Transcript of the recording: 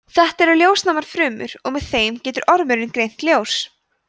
þetta eru ljósnæmar frumur og með þeim getur ormurinn greint ljós